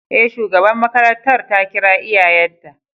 E, shugaban makarantar ta kira iyayenta.